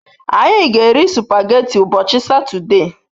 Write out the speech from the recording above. Anyi g'eri supageti ubochi sotode